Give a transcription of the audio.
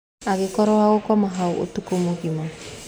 Akĩkorwo wa gũkoma hau ũtukũ mũgima.